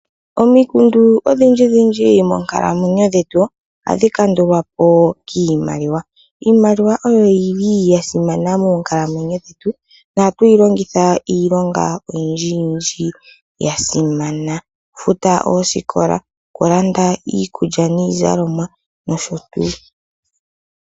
Omikundu odhi ndji dhi ndji moonkalamwenyo dhetu oha dhi kandulwapo kiimaliwa. Iimaliwa oyo yili yasimana moonkalamwenyo dhetu noha tuyi longitha iilonga oyindji yindji yasimana, okufuta oosikola okulanda iikulya niizalomwa nosho tuu.